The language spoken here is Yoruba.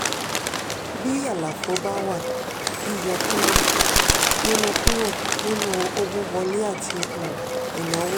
bí àlàfo bá wà yíyọ kúrò nínú kúrò nínú owó wọlé àti um ìnáwó.